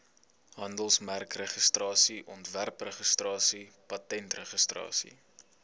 handelsmerkregistrasie ontwerpregistrasie patentregistrasie